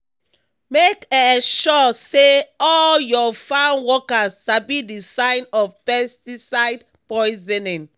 make um sure say all your farm workers sabi the sign of pesticide poisoning.